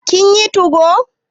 kin yi 2go?